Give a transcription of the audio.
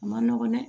A ma nɔgɔn dɛ